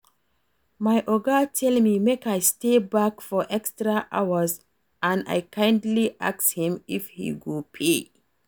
My Oga tell me make I stay back for extra hours and I kindly ask him if he go pay